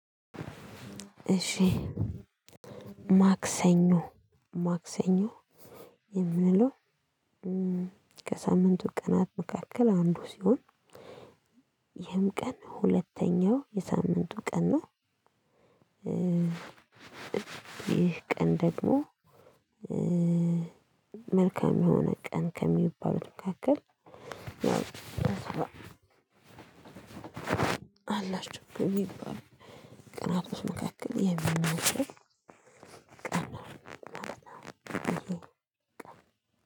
እሺ ማክሰኞ ማክሰኞ የሚለው ከሳምንቱ ቀናት መካከል አንዱ ሲሆን ይህም ቀን ሁለተኛው የሳምንቱ ቀን ነው። ይህ ቀን ደግሞ መልካም የሆነ ቀን ከሚባሉት መካከል አላችሁ ይባላል። ቀናቶች ውስጥ መካከል የሚመስለው